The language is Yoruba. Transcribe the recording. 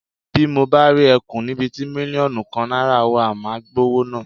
Bí mo bá rí e̩kùn níbi ti mílíò̩nù kan náìràa wa, màá gbówó náà.